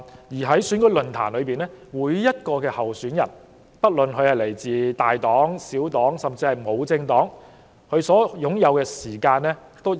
而在選舉論壇中，每名候選人，不論來自大黨、小黨還是獨立人士，都有均等的發言時間。